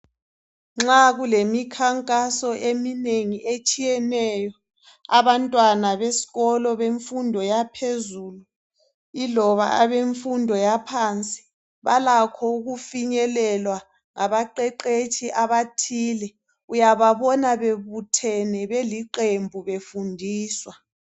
Nxa kulemikhankaso eminengi etshiyeneyo abantwana besikolo bemfundo yaphezulu iloba abemfundo yaphansi balakho ukufinyelelwa ngabaqeqetshi abathile uyababona bebuthene beliqembu befundiswa